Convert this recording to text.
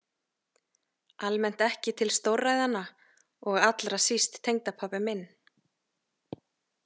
Almennt ekki til stórræðanna og allra síst tengdapabbi minn.